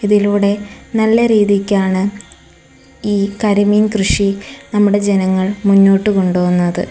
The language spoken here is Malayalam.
ഇതിലൂടെ നല്ല രീതിക്കാണ് ഈ കരിമീൻ കൃഷി നമ്മുടെ ജനങ്ങൾ മുന്നോട്ടു കൊണ്ടു പോകുന്നത്.